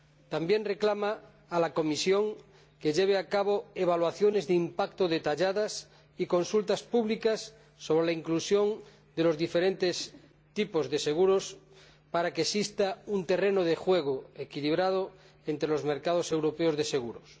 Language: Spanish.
También reclama a la Comisión que lleve a cabo evaluaciones de impacto detalladas y consultas públicas sobre la inclusión de los diferentes tipos de seguros, para que exista un terreno de juego equilibrado entre los mercados europeos de seguros.